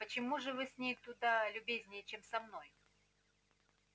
почему же вы с ней куда любезнее чем со мной